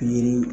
Pikiri